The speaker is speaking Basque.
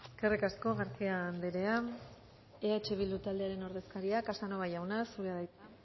eskerrik asko garcía anderea eh bildu taldearen ordezkaria casanova jauna zurea da hitza